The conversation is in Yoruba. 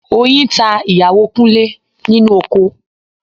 Oyin ta ìyàwó Kúnlé nínú oko